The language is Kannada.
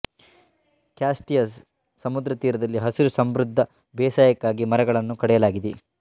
ಕ್ಯಾಸ್ಟಿಯನ್ ಸಮುದ್ರ ತೀರದಲ್ಲಿ ಹಸಿರು ಸಮೃದ್ಧ ಬೇಸಾಯಕ್ಕಾಗಿ ಮರಗಳನ್ನು ಕಡಿಯಲಾಗಿದೆ